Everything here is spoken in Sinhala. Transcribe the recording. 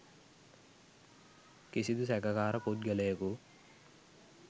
කිසිදු සැකකාර පුද්ගලයකු